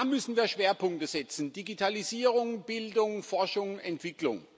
Da müssen wir Schwerpunkte setzen Digitalisierung Bildung, Forschung, Entwicklung.